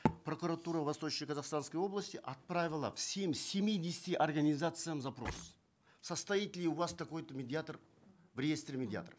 прокуратура восточно казахстанской области отправила всем семидесяти организациям запрос состоит ли у вас такой то медиатор в реестре медиаторов